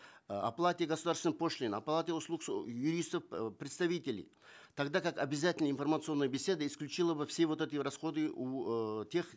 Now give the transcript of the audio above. э оплате государственной пошлины оплате услуг юристов э представителей тогда как обязательная информационная беседа исключила бы все вот эти расходы у э тех